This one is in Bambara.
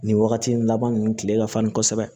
Nin wagati in laban nunnu kile ka farin kosɛbɛ